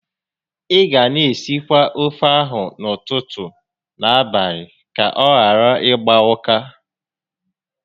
Ị ga na esikwa ofe ahụ n'ụtụtụ na n'abalị ka ọ ghara ịgba ụka